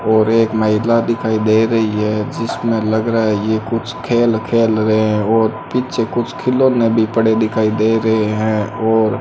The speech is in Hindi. और एक महिला दिखाई दे रही है जिसमे लग रहा है ये कुछ खेल खेल रहे है और पीछे कुछ खिलौने भी पड़े दिखाई दे रहे है और--